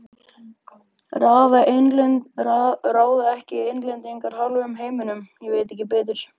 Ráða ekki Englendingar hálfum heiminum, ég veit ekki betur.